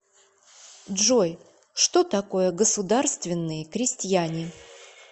джой что такое государственные крестьяне